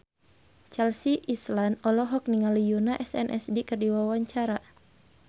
Chelsea Islan olohok ningali Yoona SNSD keur diwawancara